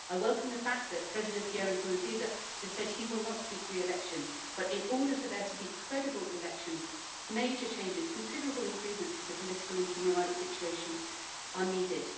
I welcome the fact that President Pierre Nkurunziza has said that he will not seek re election, but in order for there to be credible elections, major changes considerable improvements to the political and human rights situation are needed.